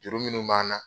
Juru minnu b'an na